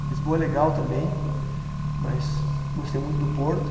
Lisboa é legal também, mas gostei muito do Porto.